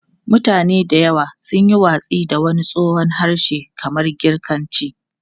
Mutane da yawa sun yi watsi da wani tsohon harshe kamar Girkanci.